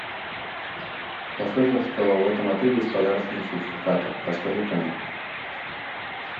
я слышал что в этом отеле есть подарочные сертификаты расскажи про них